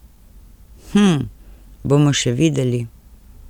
Hm, bomo še videli ...